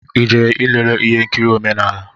I jere ilele ihe nkiri omenala?